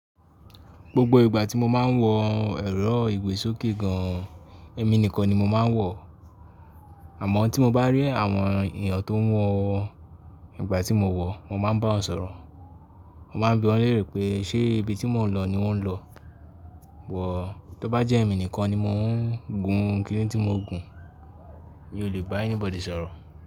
Gbogbo ìgbà tí mo máa ń wọ ẹ̀rọ ìgbésókè gan, èmi nìkan ni mo máa ń wọ. Àmọ́ tí mo bá rí àwọn ènìyàn tó ń wọ ìgbà tí mo wọ̀, mo máa bá wọn sọ̀rọ̀. Mo máa ń bí wọn léèrè pé ṣe ibi tí mò ń lọ ni wọ́n ń lọ. Wọ̀ tó bá jẹ́ èmi nìkan ni mò ń gun kìíní tí mo ń gùn mi ò lè bá anybody sọ̀rọ̀.